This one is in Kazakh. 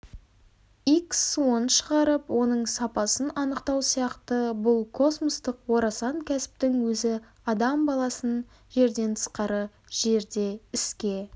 икс суын шығарып оның сапасын анықтау сияқты бұл космостық орасан кәсіптің өзі адам баласының жерден тысқары жерде іске